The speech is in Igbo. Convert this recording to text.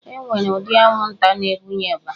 E nwere ụdị anwụnta na-ebunye ịba